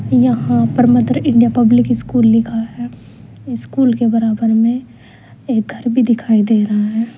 यहां पर mother India public school लिखा है स्कूल के बराबर में एक घर भी दिखाई दे रहा है।